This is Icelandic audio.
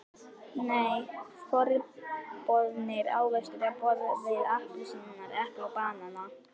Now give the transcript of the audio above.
Nei, forboðnir ávextir á borð við appelsínur, epli og banana.